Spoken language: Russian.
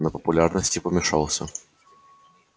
на популярности помешался